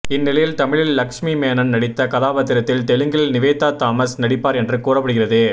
இந்நிலையில் தமிழில் லக்ஷ்மி மேனன் நடித்த கதாபாத்திரத்தில் தெலுங்கில் நிவேதா தாமஸ் நடிப்பார் என கூறப்படுகிறது